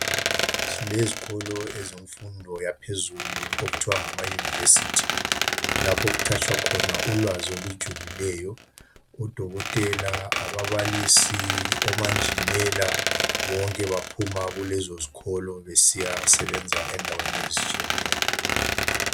Silezikolo ezemfundo yaphezulu okuthiwa ngama University. Lapho okuthatshwa khona ulwazi olujulileyo. Odokotela, ababalisi, omanjinela bonke baphuma kulezo zikolo besiyasebenza endaweni ezitshiyeneyo.